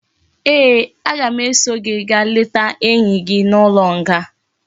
Ee, aga m eso gi gaa leta enyi gi n'ulo nga